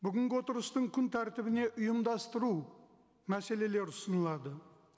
бүгінгі отырыстың күн тәртібіне ұйымдастыру мәселелері ұсынылады